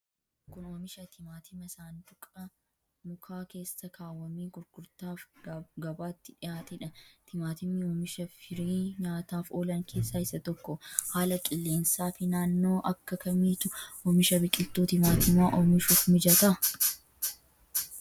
Kun, oomisha timaatima saanduqa mukaa keessa kaawwamee gurgurtaaf gabaatti dhihaate dha. Timaatimni oomisha firii nyaataaf oolan keessaa isa tokko. Haala qilleensaa fi naannoo akka kamiitu oomisha biqiltuu timaatimaa oomishuuf mijata?